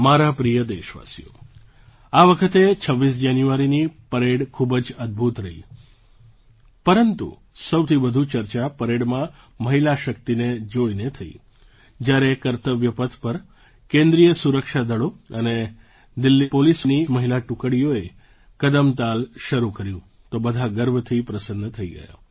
મારા પ્રિય દેશવાસીઓ આ વખતે 26 જાન્યુઆરીની પરેડ ખૂબ જ અદ્ભુત રહી પરંતુ સૌથી વધુ ચર્ચા પરેડમાં મહિલા શક્તિને જોઈને થઈ જ્યારે કર્તવ્ય પથ પર કેન્દ્રીય સુરક્ષા દળો અને દિલ્લી પોલીસની મહિલા ટુકડીઓએ કદમતાલ શરૂ કર્યું તો બધા ગર્વથી પ્રસન્ન થઈ ગયા